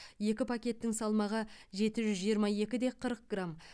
екі пакеттің салмағы жеті жүз жиырма екі де қырық грамм